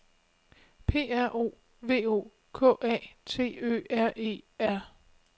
P R O V O K A T Ø R E R